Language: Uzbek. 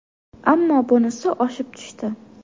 Ammo bunisi oshib tushdi”.